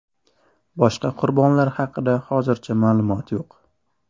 Boshqa qurbonlar haqida hozircha ma’lumot yo‘q.